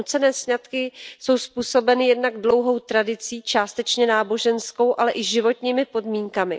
Nucené sňatky jsou způsobeny jednak dlouhou tradicí, částečně náboženskou, ale i životními podmínkami.